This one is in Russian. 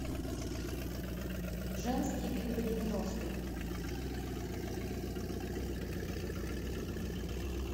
женские клипы девяностых